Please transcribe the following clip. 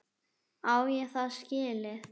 Á ég það skilið?